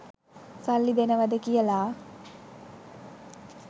සල්ලි දෙනවද කියලා.